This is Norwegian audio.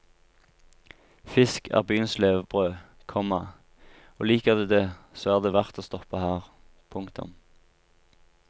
Fisk er byens levebrød, komma og liker du det så er det verdt å stoppe her. punktum